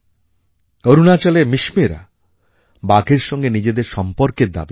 অরুণাচলের মিশমীরা বাঘের সঙ্গে নিজেদের সম্পর্কের দাবী করে